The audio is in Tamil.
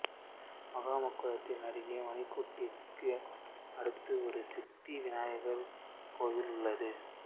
மகாமகக்குளத்தின் அருகே மணிக்கூண்டிற்கு அடுத்து ஒரு சித்தி விநாயகர் கோயில் உள்ளது